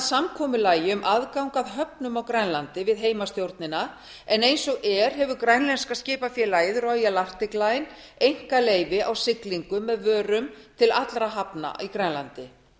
samkomulagi um aðgang að höfnum á grænlandi við heimastjórnina en eins og er hefur grænlenska skipafélagið royal einkaleyfi á siglingu árið vörum til allra hafna í grænlandi